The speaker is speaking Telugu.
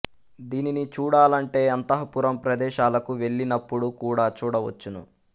దీనిని చూడాలంటే అంతఃపురం ప్రదేశాలకు వెళ్లి నప్పుడు కూడ చూడ వచ్చును